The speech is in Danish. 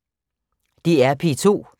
DR P2